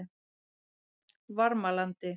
Varmalandi